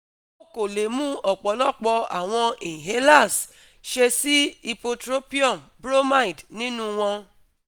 o ko le mu ọpọlọpọ awọn inhalers ṣe si ipotropium bromide ninu wọn